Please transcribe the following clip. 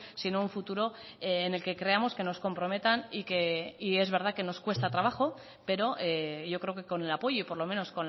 sino un futuro en el que creamos que nos comprometan y es verdad que nos cuesta trabajo pero yo creo que con el apoyo y por lo menos